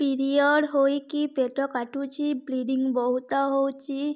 period ହୋଇକି ପେଟ କାଟୁଛି ବ୍ଲିଡ଼ିଙ୍ଗ ବହୁତ ହଉଚି